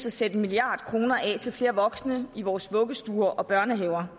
at sætte en milliard kroner af til flere voksne i vores vuggestuer og børnehaver